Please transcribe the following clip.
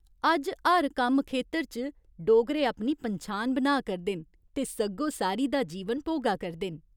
अज्ज हर कम्म खेतर च डोगरे अपनी पन्छान बनाऽ करदे न ते सग्गोसारी दा जीवन भोगा करदे न।